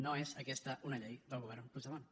no és aquesta una llei del govern puigdemont